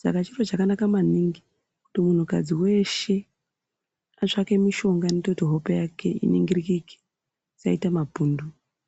saka chiro chakanaka maningi kuti muntukadzi weshe atsvake mishonga inoita kuti hope yake iningirikike isaita mapundu.